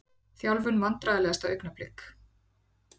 Þjálfun Vandræðalegasta augnablik?